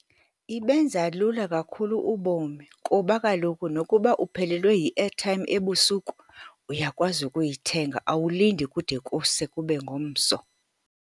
Ibenza lula kakhulu ubomi, kuba kaloku nokuba uphelelwe yi-airtime ebusuku, uyakwazi ukuyithenga, awulindi kude kuse kube ngomso.